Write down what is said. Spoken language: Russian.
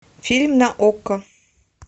фильм на окко